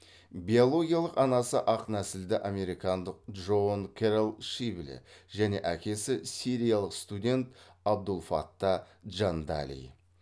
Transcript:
биологиялық анасы ақ нәсілді американдық джоан кэрол шибле және әкесі сириялық студент абдулфатта джандали